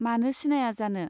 मानो सिनाया जानो.